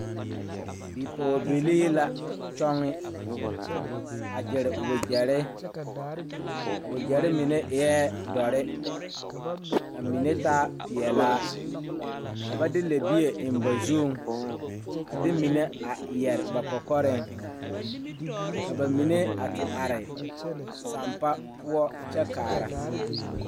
Bipɔɔbilee la kyɔŋe a gyire wogyɛrre a wogyɛrre mine eɛɛ dɔre ka mine taa peɛlaa ka ba de lɛbie eŋ ba zuŋ a de mine a yɛre ba kɔkɔreŋ ka ba mine a ti are sampa poɔ kyɛ kaara.